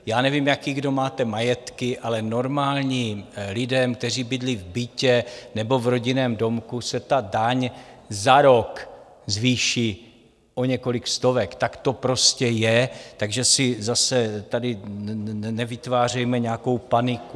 Já nevím, jaké kdo máte majetky, ale normálním lidem, kteří bydlí v bytě nebo v rodinném domku, se ta daň za rok zvýší o několik stovek, tak to prostě je, takže si zase tady nevytvářejme nějakou paniku.